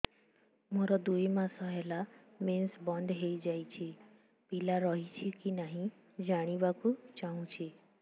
ମୋର ଦୁଇ ମାସ ହେଲା ମେନ୍ସ ବନ୍ଦ ହେଇ ଯାଇଛି ପିଲା ରହିଛି କି ନାହିଁ ଜାଣିବା କୁ ଚାହୁଁଛି